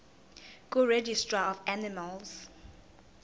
kuregistrar of animals